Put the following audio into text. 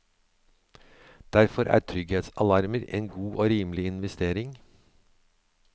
Derfor er trygghetsalarmer en god og rimelig investering.